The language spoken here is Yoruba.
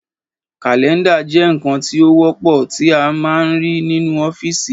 Kàlẹ́ndà jẹ́ ǹkan tí ó wọ́pọ̀ tí a ń máa ń rí nínú ọ́fìsì